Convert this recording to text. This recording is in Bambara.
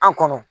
An kɔnɔ